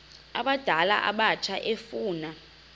abadala abatsha efuna